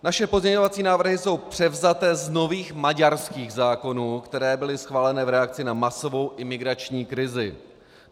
Naše pozměňovací návrhy jsou převzaty z nových maďarských zákonů, které byly schváleny v reakci na masovou imigrační krizi.